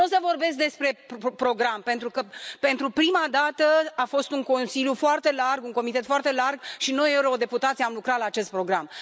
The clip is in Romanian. Nu o să vorbesc despre program pentru că, pentru prima dată, a fost un Consiliu foarte larg, un comitet foarte larg și noi, eurodeputații, am lucrat la acest program.